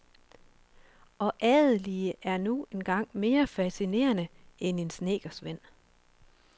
Og adelige er nu engang mere fascinerende end en snedkersvend.